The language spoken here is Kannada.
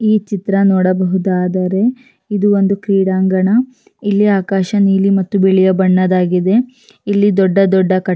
ಈ ಚಿತ್ರ ನೋಡಬಹುದಾದರೆ ಇದು ಒಂದು ಕ್ರೀಡಾಂಗಣ ಇಲ್ಲಿ ಆಕಾಶ ನೀಲಿ ಮತ್ತು ಬಿಳಿಯ ಬಣ್ಣದಾಗಿದೆ ಇಲ್ಲಿ ದೊಡ್ಡ ದೊಡ್ಡ ಕಟ್ಟಡ--